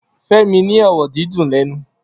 Femi ni ọrọ dìdún lẹnú